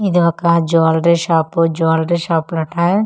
ఇది ఒక jewellery shop jewellery shop ఉంటాయి --